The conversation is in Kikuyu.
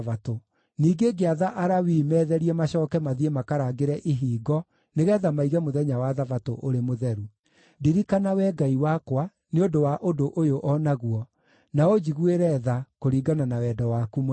Ningĩ ngĩatha Alawii meetherie macooke mathiĩ makarangĩre ihingo nĩgeetha maige mũthenya wa Thabatũ ũrĩ mũtheru. Ndirikana, Wee Ngai wakwa, nĩ ũndũ wa ũndũ ũyũ o naguo, na ũnjiguĩre tha kũringana na wendo waku mũnene.